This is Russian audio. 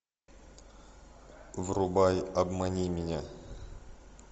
врубай обмани меня